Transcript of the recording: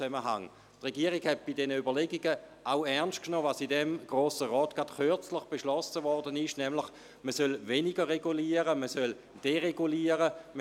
Die Regierung hat bei ihren Überlegungen auch ernst genommen, was im Grossen Rat erst kürzlich beschlossen wurde, nämlich, dass man weniger regulieren, sondern vielmehr deregulieren solle.